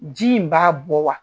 Ji in b'a bɔ wa?